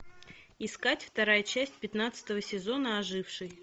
искать вторая часть пятнадцатого сезона оживший